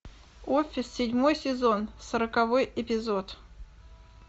офис седьмой сезон сороковой эпизод